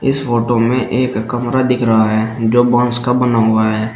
इस फोटो में एक कमरा दिख रहा है जो बांस का बना हुआ है।